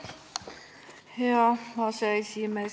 Hea aseesimees!